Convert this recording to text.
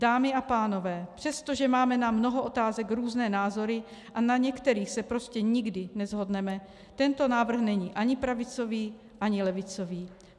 Dámy a pánové, přestože máme na mnoho otázek různé názory a na některých se prostě nikdy neshodneme, tento návrh není ani pravicový, ani levicový.